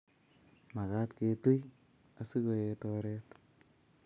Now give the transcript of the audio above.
magaat ketuy asigoeet oret